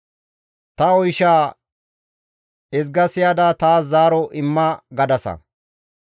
‹Ta oyshaa ezga siyada taas zaaro imma› gadasa.